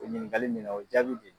O ɲininkali min na o jaabi de